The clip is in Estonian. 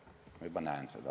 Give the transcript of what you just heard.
Ma juba näen seda.